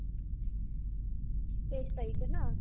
তেইছ তাৰিখে ন